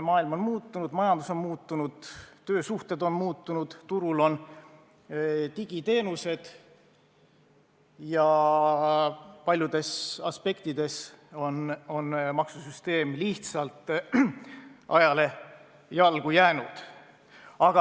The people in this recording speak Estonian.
Maailm on muutunud, majandus on muutunud, töösuhted on muutunud, turul on digiteenused ja paljudes aspektides on maksusüsteem lihtsalt ajale jalgu jäänud.